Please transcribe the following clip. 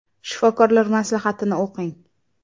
Shifokorlar maslahatini o‘qing!